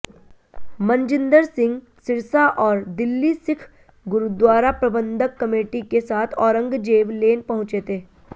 मनजिंदर सिंह सिरसा और दिल्ली सिख गुरुद्वारा प्रबंधक कमेटी के साथ औरंगजेब लेन पहुंचे थे